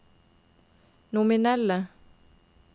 nominelle